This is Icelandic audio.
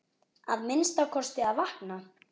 Að minnsta kosti að vakna.